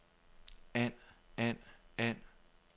and and and